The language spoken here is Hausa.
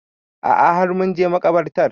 A'a har mun je makabartar